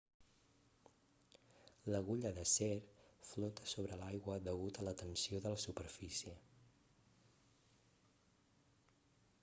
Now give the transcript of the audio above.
l'agulla d'acer flota sobre l'aigua degut a la tensió de la superfície